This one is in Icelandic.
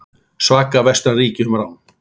Saka vestræn ríki um rán